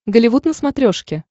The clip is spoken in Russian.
голливуд на смотрешке